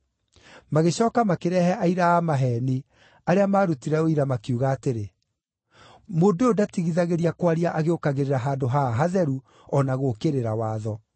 Magĩcooka makĩrehe aira a maheeni, arĩa maarutire ũira makiuga atĩrĩ, “Mũndũ ũyũ ndatigithagĩria kwaria agĩũkagĩrĩra handũ haha hatheru, o na gũũkĩrĩra watho.